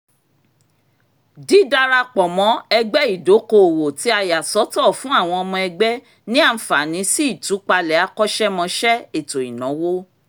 dídadarapọ̀ mọ́ ẹgbẹ́ ìdókoòwò tí a yà sọ́tọ̀ fún àwọn ọmọ ẹgbẹ́ ní àǹfààní sí ìtúpalẹ̀ akọ́ṣẹ̀mọṣẹ́ ètò ìnáwó